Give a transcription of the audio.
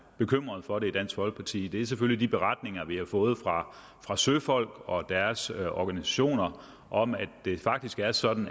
bekymret for det i dansk folkeparti er selvfølgelig de beretninger vi har fået fra fra søfolk og deres organisationer om at det faktisk er sådan